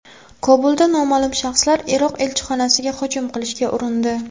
Kobulda noma’lum shaxslar Iroq elchixonasiga hujum qilishga urindi.